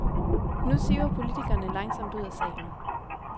Nu siver politikerne langsomt ud af salen.